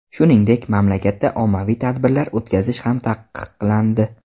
Shuningdek, mamlakatda ommaviy tadbirlar o‘tkazish ham taqiqlandi .